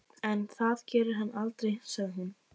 En það gerir hann aldrei, sagði hún.